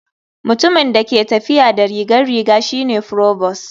Mutumin da ke tafiya da rigar riga shi ne provost.